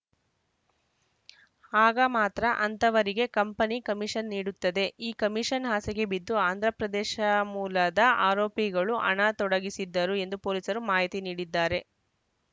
ಆಗ ಮಾತ್ರ ಅಂತಹವರಿಗೆ ಕಂಪನಿ ಕಮಿಷನ್‌ ನೀಡುತ್ತದೆ ಈ ಕಮಿಷನ್‌ ಆಸೆಗೆ ಬಿದ್ದು ಆಂಧ್ರಪ್ರದೇಶ ಮೂಲದ ಆರೋಪಿಗಳು ಹಣ ತೊಡಗಿಸಿದ್ದರು ಎಂದು ಪೊಲೀಸರು ಮಾಹಿತಿ ನೀಡಿದ್ದಾರೆ